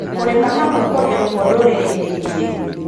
Kũrima hamwe kurĩokuo ndũrĩrĩ-inĩ ingĩ.